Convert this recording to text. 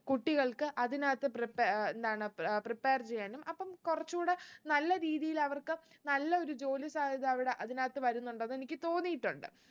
കുട്ടികൾക്ക് അതിനകത്തു prepare എന്താണ് ഏർ prepare ചെയ്യാനും അപ്പം കുറച്ചൂടെ നല്ല രീതിയിൽ അവർക്ക് നല്ല ഒരു ജോലി സാധ്യത അവിടെ അതിനകത്ത് വരുന്നുണ്ടെന്ന് എനിക്ക് തോന്നീട്ടുണ്ട്